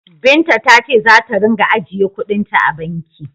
Binta ta ce za ta ringa ajiye kuɗin ta a banki.